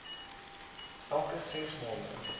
elke ses maande